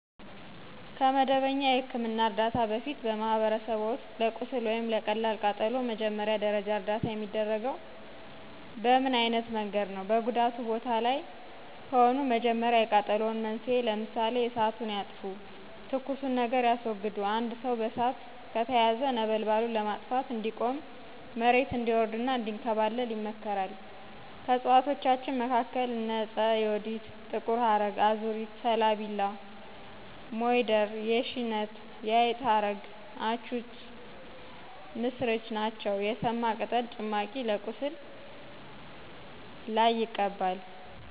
ከመደበኛ የሕክምና ዕርዳታ በፊት፣ በማኅበረሰብዎ ውስጥ ለቁስል ወይም ለቀላል ቃጠሎ መጀመሪያ ደረጃ እርዳታ የሚደረገው በምን አይነት መንገድ ነው? በጉዳቱ ቦታ ላይ ከሆኑ መጀመሪያ የቃጠሎውን መንስኤ ለምሳሌ እሳቱን ያጥፉ፣ ትኩሱን ነገር ያስወግዱ። አንድ ሰው በእሳት ከተያያዘ ነበልባሉን ለማጥፋት “እንዲቆም፣ መሬት እንዲወርድ እና እንዲንከባለል” ይመከራል። ከእፅዋቶቻችን መካከል እነ ዕፀ ዮዲት ጥቁር ሀረግ አዙሪት ሠላቢላ ሞይደር የሺነት የአይጥ ሀረግ አቱች ምሥርች ነቸው። የሰማ ቅጠል ጭማቂ በቁስል ለይ ይቀባል።